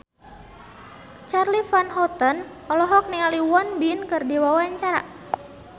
Charly Van Houten olohok ningali Won Bin keur diwawancara